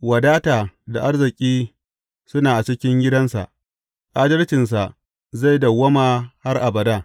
Wadata da arziki suna a cikin gidansa, adalcinsa zai dawwama har abada.